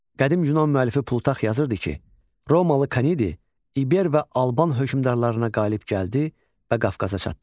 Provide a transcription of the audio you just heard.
Qədim Yunan müəllifi Plutark yazırdı ki, Romalı Kanedi İber və Alban hökmdarlarına qalib gəldi və Qafqaza çatdı.